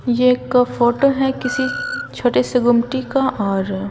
ये एक फोटो है किसी छोटे से गुमटी का और--